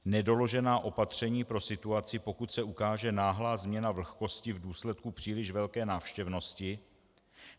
- nedoložená opatření pro situaci, pokud se ukáže náhlá změna vlhkosti v důsledku příliš velké návštěvnosti;